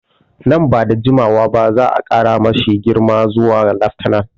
Nan ba da jimawa ba za'a ƙara ma shi girma zuwa laftanar